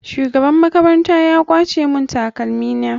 Shugaban makarantar ya kwace mun takalmin.